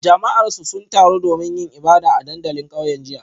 Jama'arsu sun taru domin yin ibada a dandalin kauyen jiya